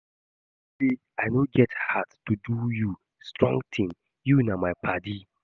You know say I no get heart to do you strong thing, you na my paddy